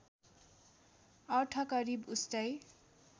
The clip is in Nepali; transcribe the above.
अर्थ करिब उस्तै